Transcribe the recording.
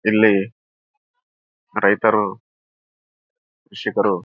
ಏನು ಬೆಳೆದಿಲ್ಲ ಇನ್ನು ಬಿತ್ತಿಲ್ಲ ಏನು ಬಿತ್ತಿಲ್ಲ ಏನಿಲ್ಲ.